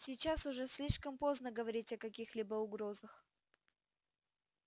сейчас уже слишком поздно говорить о каких-либо угрозах